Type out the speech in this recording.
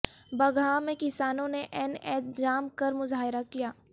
بگہا میں کسانوں نے این ایچ جام کر مظاہرہ کیا